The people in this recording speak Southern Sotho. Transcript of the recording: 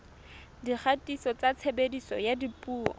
dikgatiso tsa tshebediso ya dipuo